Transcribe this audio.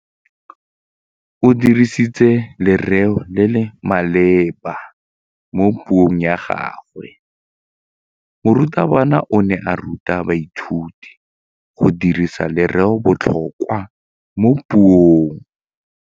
O dirisitse lerêo le le maleba mo puông ya gagwe. Morutabana o ne a ruta baithuti go dirisa lêrêôbotlhôkwa mo puong.